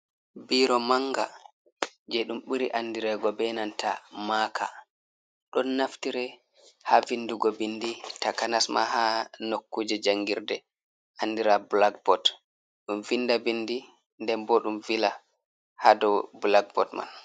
Biro manga je ɗum ɓuri andi rego be nanta maka, ɗon naftire ha vindugo bindi takanas ma ha nokkuje jangirɗe andira black bood. Ɗum vinda bindi nden bo ɗum vila ha ɗow black bood man.